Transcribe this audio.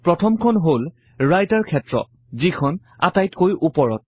প্ৰথমখন হল ৰাইটাৰ ক্ষেত্ৰ যিখন আটাইতকৈ উপৰত